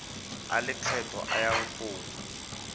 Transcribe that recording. a lekgetho a yang go